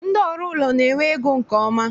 Ndị ọrụ ụlọ na-enwe ego nke ọma